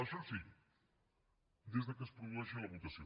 això sí des que es produeixi la votació